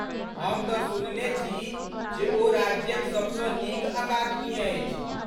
हम तँ सुनने छी जे ओ राज्यक सबसँ नीक अकादमी अछि?